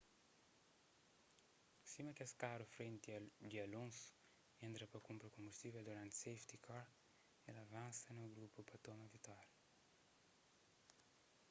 sima kes karu frenti di alonso entra pa kunpra konbustível duranti safety car el avansa na grupu pa toma vitória